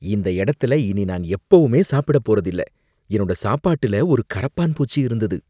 இந்த இடத்துல இனி நான் எப்பவுமே சாப்பிடப் போறதில்ல, என்னோட சாப்பாட்டுல ஒரு கரப்பான்பூச்சி இருந்தது.